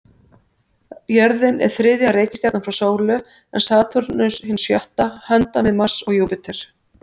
Jörðin er þriðja reikistjarnan frá sólu, en Satúrnus hin sjötta, handan við Mars og Júpíter.